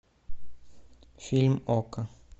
фильм окко